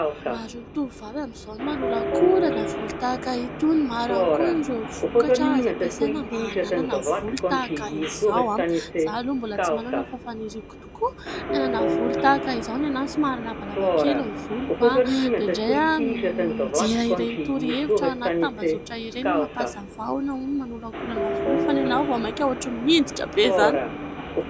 maro ny tovovavy amin'izao ny manolakolana volo tahaka itony ; maro ihany koa ireo vokatra azo ampiasaina mba hananana volo tahaka izao , izaho aloa mbola tsy manana , fa faniriako tokoa ny hanana volo tahaka izao , ny ahy somary lavalava kely ny voloko .Indraindray aho mijery ireny torohevitra ao anaty tambazotra ireny, mampiasa vahona hono manolakolana volo fa ny ahy vao mainka mihinjitra be izany